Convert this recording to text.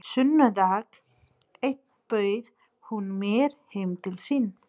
Sunnudag einn bauð hún mér heim til sín.